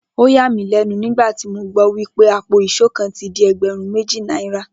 Ó yà mí lé̩nu nígbà tí mo gbó̩ wipé àpò ìs̩ó kan ti di e̩gbè̩rún méjì náírà